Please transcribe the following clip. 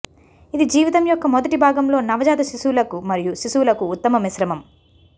ఇది జీవితం యొక్క మొదటి భాగంలో నవజాత శిశువులకు మరియు శిశువులకు ఉత్తమ మిశ్రమం